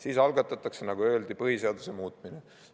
Siis algatatakse, nagu öeldi, põhiseaduse muutmine.